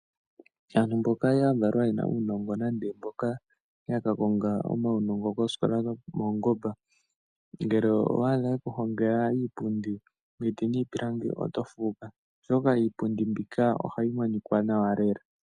Aantu mboka ya valwa ye na uunongo nande, mboka ya ka konga omaunongo koosikola dhomaungomba, ngele owa adha yeku hongela iipundi miiti niipilangi, oto fuuka oshoka iipundi mbika, ohayi monikwa nawa lela.